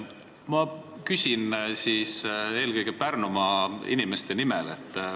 Ma küsin eelkõige Pärnumaa inimeste nimel.